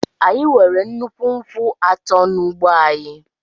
Anyị nwere nnukwu nkwụ atọ n’ugbo anyị.